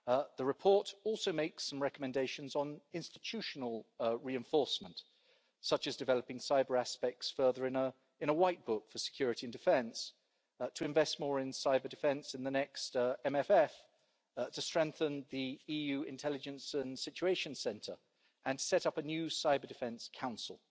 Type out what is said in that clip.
The report also makes some recommendations on institutional reinforcement, such as developing cyber aspects further in a white book for security and defence, to invest more in cyber-defence in the next MFF, to strengthen the EU Intelligence and Situation Centre and set up a new cyber-defence council.